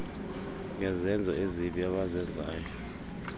ngezenzo ezibi abazenzayo